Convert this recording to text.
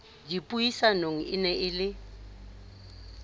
dipuisanong e ne e le